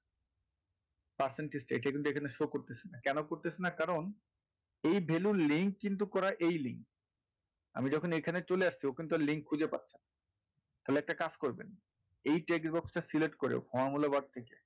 percentage টা এটা কিন্তু এখানে show করতাছে না কেন করতাছে না কারন এই value র এই link কিন্তু করা এই link আমি যখন এখানে চলে আসছি ওখানে তো link খুঁজে পাচ্ছিনা তাহলে একটা কাজ করবেন এই text box টা select করে formula bar থেকে,